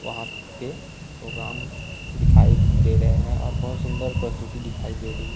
वहां पे राम दिखाई दे रहे हैं और बहुत सुंदर प्रस्तुति दिखाई दे रही--